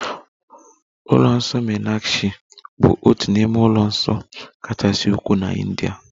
Ụlọ nsọ meenakshi bụ otu n'ime ụlọ nsọ kachasị ukwuu na India